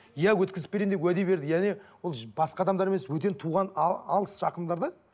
иә өткізіп беремін деп уәде бердік яғни ол басқа адамдар емес бөтен туған алыс жақындар да